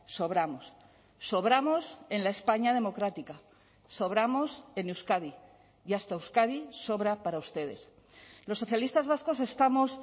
sobramos sobramos en la españa democrática sobramos en euskadi y hasta euskadi sobra para ustedes los socialistas vascos estamos